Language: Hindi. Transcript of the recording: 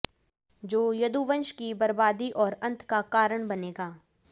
जो यदुवंश की बर्बादी और अंत का कारण बनेगा